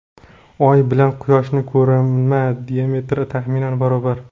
Oy bilan Quyoshning ko‘rinma diametri taxminan barobar.